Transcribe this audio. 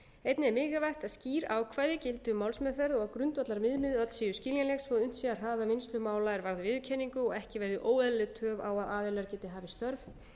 einnig er mikilvægt að skýr ákvæði gildi um málsmeðferð og að grundvallarviðmið öll séu skiljanleg svo unnt sé að hraða vinnslu mála er varða viðurkenningu og ekki verði óeðlileg töf á að aðilar geti hafið störf